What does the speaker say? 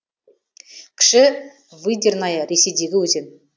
кіші выдерная ресейдегі өзен